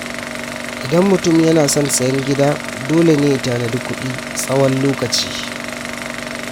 Idan mutum yana son sayen gida, dole ne ya tanadi kuɗi tsawon lokaci.